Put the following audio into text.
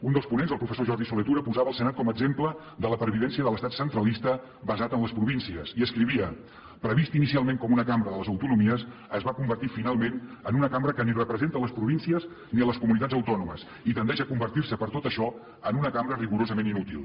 un dels ponents el professor jordi solé tura posava el senat com a exemple de la pervivència de l’estat centralista basat en les províncies i escrivia previst inicialment com una cambra de les autonomies es va convertir finalment en una cambra que ni representa les províncies ni les comunitats autònomes i tendeix a convertir se per tot això en una cambra rigorosament inútil